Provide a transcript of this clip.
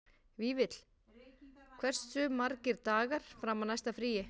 Vífill, hversu margir dagar fram að næsta fríi?